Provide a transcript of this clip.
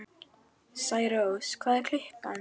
Særós, hvað er klukkan?